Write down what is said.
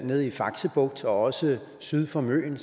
nede i fakse bugt og også syd for møn